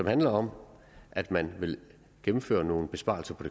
handler om at man vil gennemføre nogle besparelser på